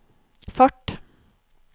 fart